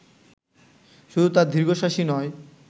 শুধু তাঁর দীর্ঘশ্বাসই নয়